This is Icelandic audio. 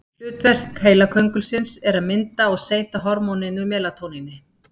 Hlutverk heilaköngulsins er að mynda og seyta hormóninu melatóníni.